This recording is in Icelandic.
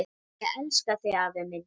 Ég elska þig afi minn.